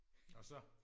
Og så?